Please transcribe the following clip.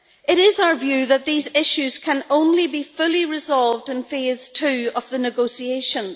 It is our view that these issues can only be fully resolved in Phase 2 of the negotiations.